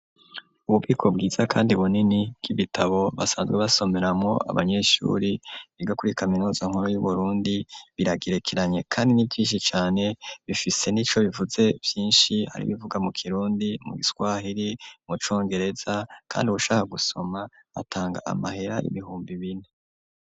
Ububiko bwiza kandi bunini bw'ibitabo, basanzwe basomeramwo, abanyeshuri biga kuri kaminuza nkuru y'Uburundi, biragerekeranye kandi ni vyishi cane, bifise n'ico bivuze vyinshi, hari ibivuga mu kirundi, mu giswahiri, mu congereza, kandi uwushaka gusoma atanga amahera ibihumbi bine.